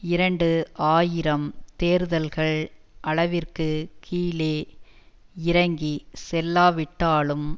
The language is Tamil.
இரண்டு ஆயிரம் தேர்தல்கள் அளவிற்கு கீழே இறங்கி செல்லாவிட்டாலும்